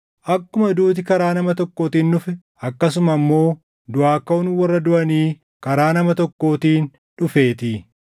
Akkuma duuti karaa nama tokkootiin dhufe, akkasuma immoo duʼaa kaʼuun warra duʼanii karaa nama tokkootiin dhufeetii.